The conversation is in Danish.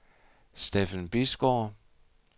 Steffen Bisgaard